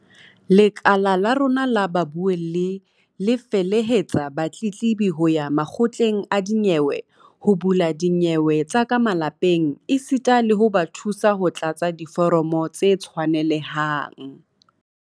Lekala la rona la babuelli le felehetsa batletlebi ho ya makgotleng a dinyewe ho bula dinyewe tsa ka malapeng esita le ho ba thusa ho tlatsa diforomo tse tshwanelehang.